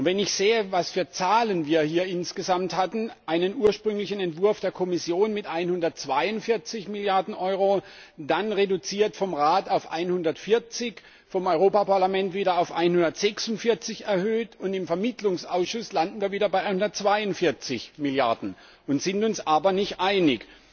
Wenn ich sehe, welche Zahlen wir hier insgesamt hatten einen ursprünglichen Entwurf der Kommission mit 142 Milliarden Euro, dann reduziert vom Rat auf 140, vom Europäischen Parlament wieder auf 146 erhöht, und im Vermittlungsausschuss landen wir wieder bei 142 Milliarden, sind uns aber nicht einig.